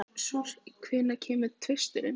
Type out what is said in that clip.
Susie, hvenær kemur tvisturinn?